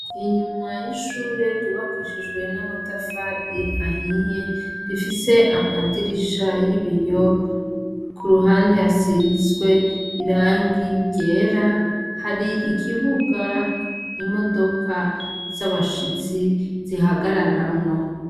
Inyuma y'ishure ryubakishijwe n'amatafari ahiye rifise amadirisha y'ibiyo, ku ruhande yasizwe irangi ryera, hari ikibuga imodoka z'abashitsi zihagararamwo.